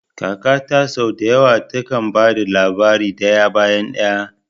Kakata sau da yawa takan ba da labari daya bayan daya.